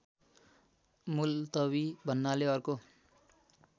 मुल्तबी भन्नाले अर्को